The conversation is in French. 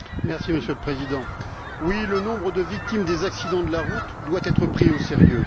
Monsieur le Président, oui, le nombre de victimes des accidents de la route doit être pris au sérieux.